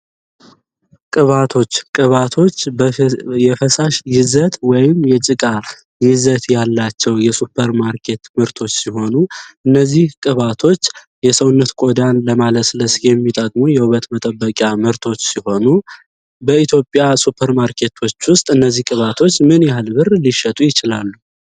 ቅባቶች ቅባቶች የፈሳሽ ወይም የጭቃ ይዘት ያላቸው የሱፐር ማርኬት ሲሆኑ እነዚህ ቅባቶች የሰውነት ቆዳን ለማለት ለሚጠቅሙ የውበት መጠበቂያ ምርቶች ሲሆኑ በኢትዮጵያ ሱፐር ማርኬቶች ውስጥ እነዚህ ቅባቶች ምን ያህል ይችላሉ